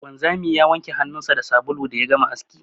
Wanzami ya wanke hannunsa da sabulu da ya gama aski.